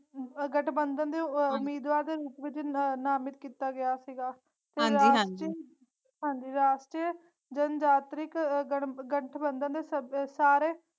ਗਠਬੰਧਨ ਦੇ ਅਹ ਉਮੀਦਵਾਰ ਦੇ ਰੂਪ ਵਿਚ ਨ ਨਾਮਿਤ ਕੀਤਾ ਗਿਆ ਸੀਗਾ ਹਾਂਜੀ-ਹਾਂਜੀ ਤੇ ਰਾਸ਼ਟਰ ਰਾਸ਼ਟਰ ਜਨ ਜਾਤ੍ਰਿਕ ਗਠਬੰਧਨ ਦੇ ਸੱਦ ਸਾਰੇ।